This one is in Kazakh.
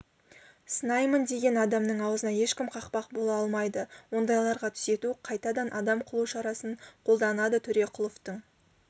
сынаймын деген адамның аузына ешкім қақпақ бола алмайды ондайларға түзету қайтадан адам қылу шарасын қолданады төреқұловтың